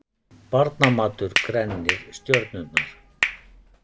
Barnamatur grennir stjörnurnar